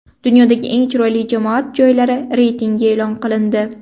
Dunyodagi eng chiroyli jamoat joylari reytingi e’lon qilindi.